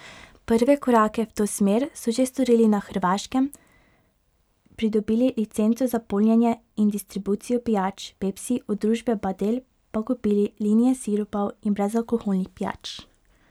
Prve korake v to smer so že storili in na Hrvaškem pridobili licenco za polnjenje in distribucijo pijač Pepsi, od družbe Badel pa kupili linije sirupov in brezalkoholnih pijač.